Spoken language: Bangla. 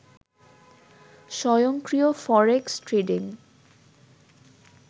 স্বয়ংক্রিয় ফরেক্স ট্রেডিং